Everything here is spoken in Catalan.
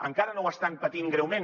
encara no ho estan patint greument